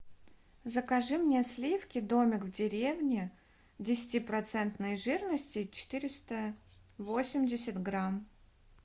закажи мне сливки домик в деревне десятипроцентной жирности четыреста восемьдесят грамм